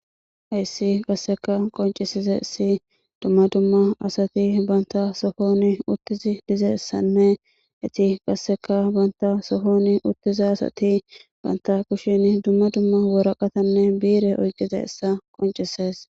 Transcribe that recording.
Hayssi qasseka qoncisize si dumma dumma asati banta sohoni uttizi dizessanne iti qasseka banta sohoni uttizi asati banta kushin dumma dumma woraqatanne biire oyqize issa qoncises